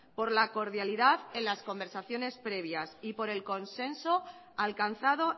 por la cordialidad en las conversaciones previas y por el consenso alcanzado